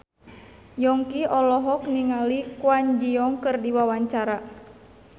Yongki olohok ningali Kwon Ji Yong keur diwawancara